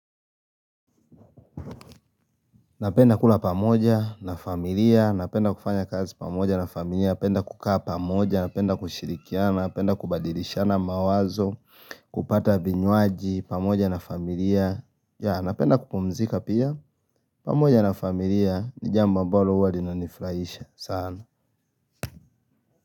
Napenda kula pamoja na familia, napenda kufanya kazi pamoja na familia, napenda kukaa pamoja, napenda kushirikiana, napenda kubadilishana mawazo, kupata vinywaji pamoja na familia, napenda kupumzika pia, pamoja na familia ni jambo ambalo huwa linanifurahisha, sana.